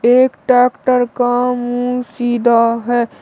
एक टैक्टर का मुंह सीधा है।